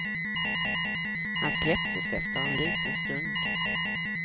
Han släpptes efter en liten stund.